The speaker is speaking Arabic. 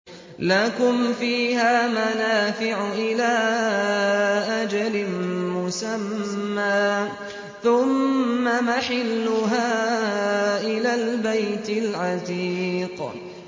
لَكُمْ فِيهَا مَنَافِعُ إِلَىٰ أَجَلٍ مُّسَمًّى ثُمَّ مَحِلُّهَا إِلَى الْبَيْتِ الْعَتِيقِ